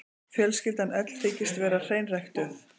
Fjölskyldan öll þykist vera hreinræktuð.